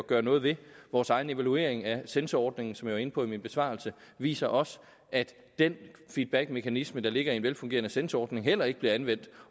gøre noget ved vores egen evaluering af censorordningen som jeg var inde på i min besvarelse viser også at den feedbackmekanisme der ligger i en velfungerende censorordning heller ikke bliver anvendt